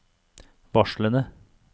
varslene